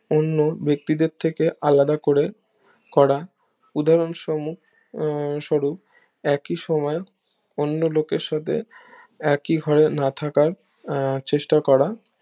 অন্য ব্যাক্তিদের থেকে আলাদা করে করা উদাহরণ স্বরূপ একই সময়ও অন্য লোকের সাথে একি ঘরে না থাকা আহ চেষ্টা করা